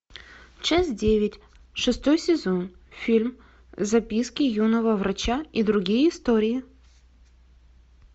часть девять шестой сезон фильм записки юного врача и другие истории